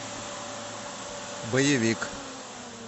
боевик